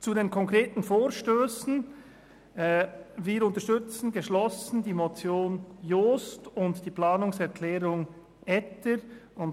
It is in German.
Zu den konkreten Vorstössen: Wir unterstützen geschlossen die Motion Jost und die Planungserklärung Etter.